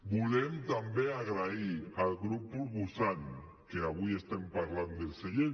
volem també donar les gràcies al grup proposant que avui estem parlant del segell